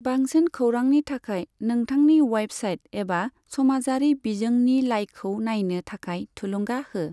बांसिन खौरांनि थाखाय नोंथांनि वेबसाइट एबा समाजारि बिजोंनि लाइखौ नायनो थाखाय थुलुंगा हो।